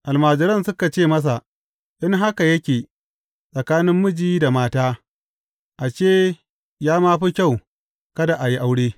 Almajiran suka ce masa, In haka yake tsakanin miji da mata, ashe, ya ma fi kyau kada a yi aure.